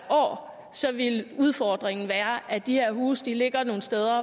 år ville udfordringen være at de her huse ligger nogle steder